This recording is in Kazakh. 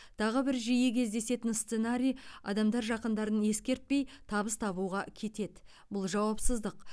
тағы бір жиі кездесетін сценарий адамдар жақындарын ескертпей табыс табуға кетеді бұл жауапсыздық